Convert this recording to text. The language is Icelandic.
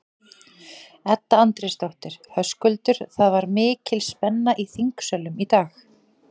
Edda Andrésdóttir: Höskuldur, það var mikil spenna í þingsölum í dag?